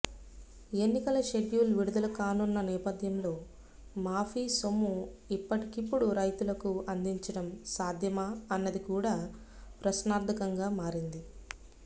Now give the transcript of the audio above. ఎన్నికల షెడ్యూల్ విడుదల కానున్న నేపథ్యంలో మాఫీ సొమ్ము ఇప్పటికిప్పుడు రైతులకు అందించడం సాధ్యమా అన్నది కూడా ప్రశ్నార్థకంగా మారింది